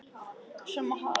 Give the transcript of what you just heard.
Svo má ekki verða.